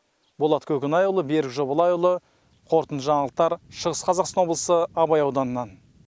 болат көкенайұлы берік жобалайұлы қорытынды жаңалықтар шығыс қазақстан облысы абай ауданынан